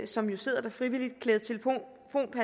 som jo sidder der frivilligt